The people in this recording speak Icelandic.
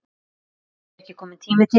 Er ekki kominn tími til?